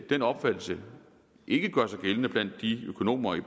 den opfattelse ikke gør sig gældende blandt økonomerne